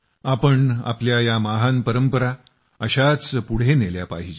आपण आपल्या या महान परंपरा अशाच पुढे नेल्या पाहिजेत